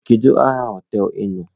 Kedu aha hoteelu ị nọ?